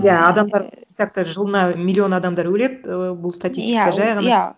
иә адамдар итак то жылына миллион адамдар өледі ііі бұл статистика жай ғана